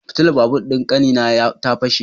Fitilar babur din kanina na fashe.